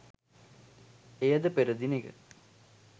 එයද පෙර දිනෙක